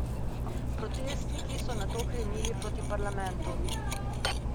Protestniki so nato krenili proti parlamentu.